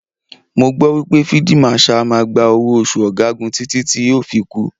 Mo gbọ́ wípé Fíídí Màṣaà á máa gba owó oṣù ọ̀gagun títí tí yóò fi kú.